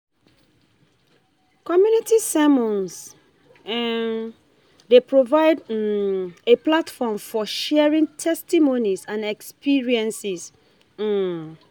Community sermons um dey provide um a platform for for sharing testimonies and experiences. um